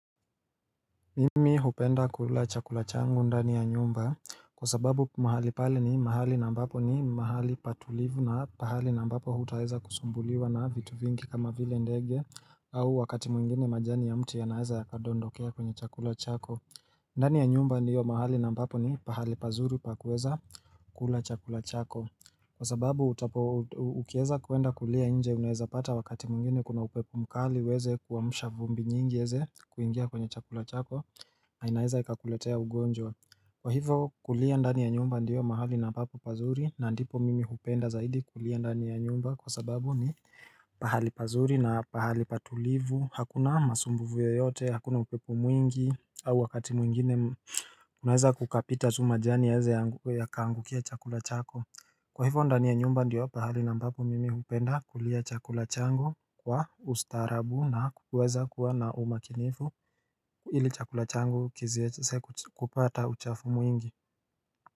Mimi hupenda kula chakula changu ndani ya nyumba kwa sababu mahali pali ni mahali na ambapo ni mahali patulivu na pahali na ambapo hutaweza kusumbuliwa na vitu vingi kama vile ndege au wakati mwingine majani ya mtu ya naeza ya kadondokea kwenye chakula chako ndani ya nyumba ndio mahali na ambapo ni pahali pazuri pakueza kula chakula chako Kwa sababu utapo ukieza kuenda kulia inje unaeza pata wakati mwingine kuna upepo mkali ueze kuamusha vumbi nyingi ieze kuingia kwenye chakula chako na inaeza ikakuletea ugonjwa Kwa hivo kulia ndani ya nyumba ndiyo mahali na papo pazuri na ndipo mimi hupenda zaidi kulia ndani ya nyumba kwa sababu ni pahali pazuri na pahali patulivu, hakuna masumbuvu yoyote, hakuna upepomwingi au wakati mwingine kunaeza kukapita tuma jani ya heze ya kaangukia chakula chako Kwa hivyo ndani ya nyumba ndio pahali na ambapo mimi hupenda kulia chakula changu kwa ustaarabu na kuweza kuwa na umakinifu ili chakula changu kiziezse kupata uchafu mwingi.